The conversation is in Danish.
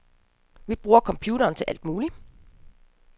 Vi bruger computere til alt muligt.